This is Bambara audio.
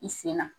I sen na